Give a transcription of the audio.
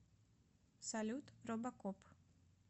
салют робокоп